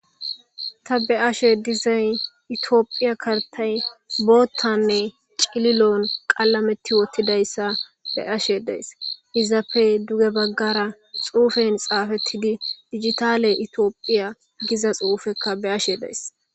ta be ashe dizayn itiophiya kartay boottanne cililon qalameti wottidayssa be ashe dees izappe duge baggara xuufen xaafettidi digitale itioophiya giza xuufekka be ashe deys